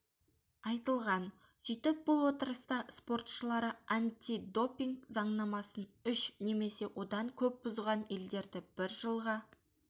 айтылған сөйтіп бұл отырыста спортшылары андидопинг заңнамасын үш немесе одан көп бұзған елдерді бір жылға